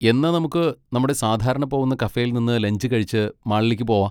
എന്നാ നമുക്ക് നമ്മുടെ സാധാരണ പോവുന്ന കഫേയിൽ നിന്ന് ലഞ്ച് കഴിച്ച് മാളിലേക്ക് പോവാ?